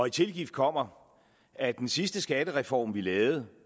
i tilgift kommer at den sidste skattereform vi lavede